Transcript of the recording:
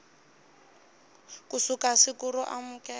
ku suka siku ro amukela